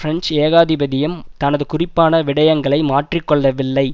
French ஏகாதிபத்தியம் தனது குறிப்பான விடையங்களை மாற்றிக்கொள்ளவில்லை